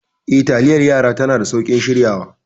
Eh, taliyar yara tana da sauƙin shiryawa.